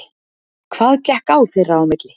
Hvað gekk á þeirra á milli?